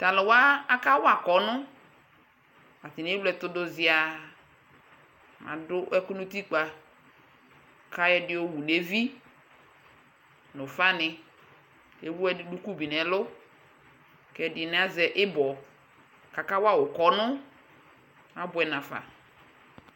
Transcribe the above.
Tʋ alʋ wa akawa kɔnʋ Atanɩ ewle ɛtʋ dʋ zɩaa Adʋ ɛkʋ nʋ utikpǝ kʋ ayɔ ɛdɩ yɔwu nʋ evi nʋ ʋfanɩ kʋ ewu duku bɩ nʋ ɛlʋ kʋ ɛdɩnɩ azɛ ɩbɔ kʋ akawa wʋ ʋkɔnʋ Abʋɛ nafa